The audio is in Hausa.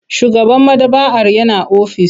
Shugaban maɗaba'ar yana ofis.